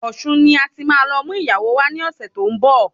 Ọ̀ṣun ni ati má lọ mú ìyàwó wá ní ọ̀sẹ̀ tó ń bọ̀